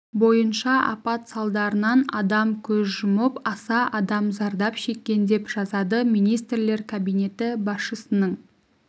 бойынша апат салдарынан адам көз жұмып аса адам зардап шеккен деп жазады министрлер кабинеті басшысының